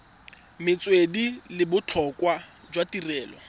metswedi le botlhokwa jwa tirelo